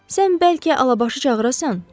Sən bəlkə Alabaşı çağırasan?